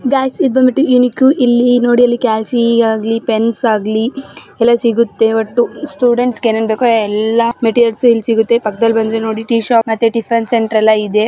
Guys ಇದು ಬಂದ್ಬಿಟ್ಟು unique . ಇಲ್ಲಿ ನೋಡಿ ಇಲ್ಲಿ ಕ್ಯಾಲ್ಸಿ ಆಗ್ಲಿ ಪೆನ್ಸ್ ಆಗ್ಲಿ ಎಲ್ಲ ಸಿಗುತ್ತೆ. ಒಟ್ಟು ಸ್ಟೂಡೆಂಟ್ಸ್ ಏನೇನು ಬೇಕೋ ಎಲ್ಲ ಮೆಟೀರಿಯಲ್ಸ್ ಇಲ್ಲಿ ಸಿಗುತ್ತೆ ಮತ್ತೆ ಪಕ್ಕದಲ್ಲಿ ಬಂದು ಟೀ ಶಾಪ್ ಮತ್ತೆ ಟಿಫನ್ ಸೆಂಟರ್ ಎಲ್ಲ ಇದೆ.